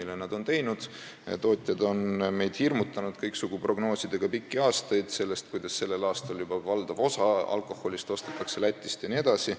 Tootjad on meid pikki aastaid hirmutanud kõiksugu prognoosidega, nagu sellel aastal juba valdav osa alkoholist ostetaks Lätist jne.